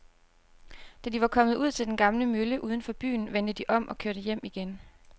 Da de var kommet ud til den gamle mølle uden for byen, vendte de om og kørte hjem igen.